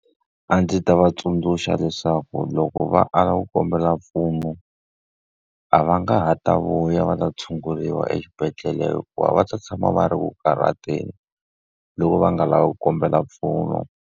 A ndzi ta va tsundzuxa leswaku loko va ala ku kombela mpfuno, a va nga ha ta vuya va ta tshunguriwa exibedhlele hikuva va ta tshama va ri ku karhateni. Loko va nga lavi ku kombela mpfuno.